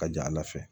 Ka jala fɛ